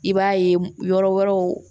I b'a ye yɔrɔ wɛrɛw